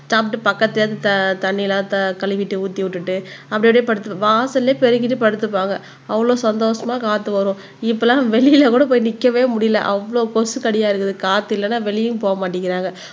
சாப்பிட்டு பக்கத்துல இருந்த தண்ணி எல்லாம் த கழுவிட்டு ஊத்தி விட்டுட்டு அப்படி அப்படியே படுத்து வாசல்லயே பெருகிட்டு படுத்துப்பாங்க அவ்வளவு சந்தோஷமா காத்து வரும் இப்ப எல்லாம் வெளியில கூட போய் நிக்கவே முடியலை அவ்வளவு கொசு கடியா இருக்குது காத்து இல்லைன்னா வெளியயும் போக மாட்டேங்கிறாங்க